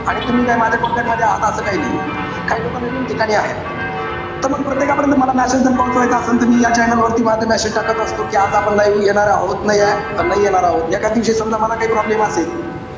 आणि तुम्ही काही माझ्या contact मध्ये आहेत असं काही नाहीये. काई लोक नवीन ठिकाणी आहेत. त मग प्रत्येकापर्यंत मला message जर पोचवायचा असेल त मी या channel वरती माझे message टाकत असतो. कि आज आपण live येणार आहोत. किंवा नाई येणार आहोत. एखाद दिवशी समजा मला काही problem असेल.